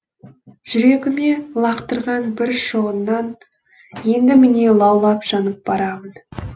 жүрегіме лақтырған бір шоғыңнан енді міне лаулап жанып барамын